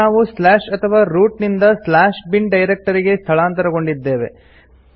ಈಗ ನಾವು ಸ್ಲಾಶ್ ಅಥವಾ ರೂಟ್ ನಿಂದ ಸ್ಲಾಶ್ ಬಿನ್ ಡೈರೆಕ್ಟರಿ ಗೆ ಸ್ಥಳಾಂತರಗೊಂಡಿದ್ದೇವೆ